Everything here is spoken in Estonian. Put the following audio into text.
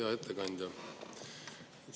Hea ettekandja!